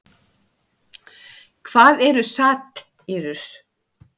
En hvað eru satírur?